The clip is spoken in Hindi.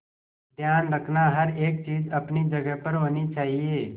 ध्यान रखना हर एक चीज अपनी जगह पर होनी चाहिए